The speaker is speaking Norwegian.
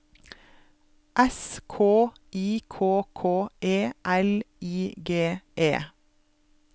S K I K K E L I G E